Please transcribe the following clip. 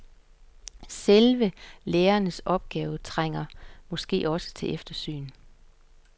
Selve lærerens opgave trænger måske også til eftersyn.